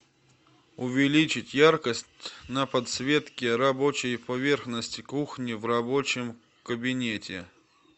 увеличить яркость на подсветке рабочей поверхности кухни в рабочем кабинете